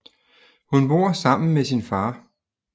Hun bor sammen med sin far